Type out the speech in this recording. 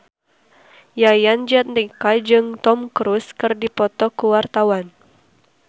Yayan Jatnika jeung Tom Cruise keur dipoto ku wartawan